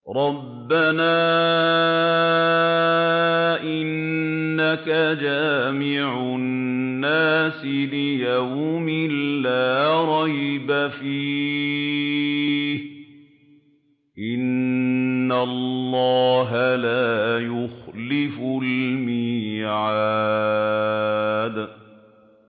رَبَّنَا إِنَّكَ جَامِعُ النَّاسِ لِيَوْمٍ لَّا رَيْبَ فِيهِ ۚ إِنَّ اللَّهَ لَا يُخْلِفُ الْمِيعَادَ